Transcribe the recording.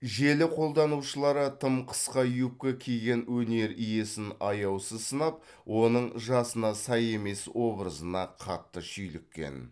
желі қолданушылары тым қысқа юбка киген өнер иесін аяусыз сынап оның жасына сай емес образына қатты шүйліккен